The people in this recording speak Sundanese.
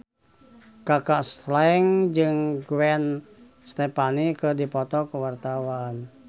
Kaka Slank jeung Gwen Stefani keur dipoto ku wartawan